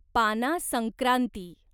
पाना संक्रांती